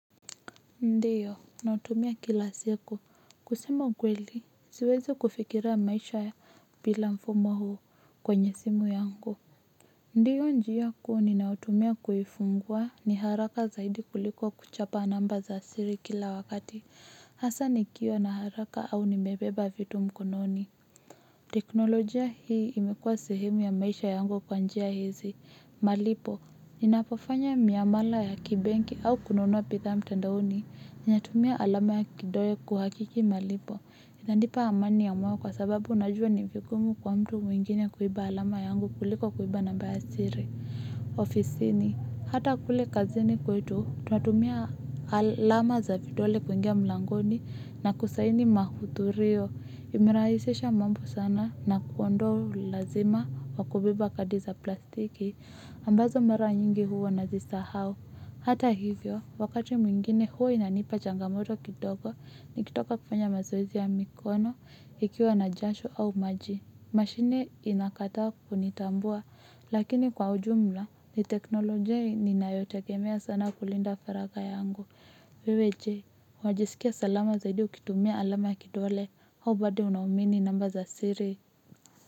Ndiyo, nautumia kila siku. Kusema ukweli, siwezi kufikiria maisha bila mfumo huu kwenye simu yangu. Ndiyo, njia kuu ninayotumia kuifungua ni haraka zaidi kuliko kuchapa namba za siri kila wakati. Hasa nikiwa na haraka au nimebeba vitu mkononi. Teknolojia hii imekuwa sehemu ya maisha yangu kwanjia hizi. Malipo, ninapofanya miamala ya kibenki au kununua bithaa mtandaoni, ninatumia alama ya kidole kuhakiki malipo, inanipa amani ya moyo kwa sababu najua ni vigumu kwa mtu mwingine kuiba alama yangu kuliko kuiba na mba ya siri. Ofisini, hata kule kazini kwetu, tunatumia alama za vidole kuingia mlangoni na kusaini mahuthulio, imerahisisha mambo sana na kuondoa u lazima wa kubeba kadi za plastiki ambazo mara nyingi huwa na zisahau. Hata hivyo, wakati mwingine huwa inanipa changamoto kidogo, nikitoka kufanya mazoezi ya mikono, ikiwa na jasho au maji. Mashine inakataa kunitambua, lakini kwa ujumla ni teknolojia ninayotegemea sana kulinda faraga yangu. Wewe je, unajiskia salama zaidi ukitumia alama ya kidole au bado unaumini namba za siri.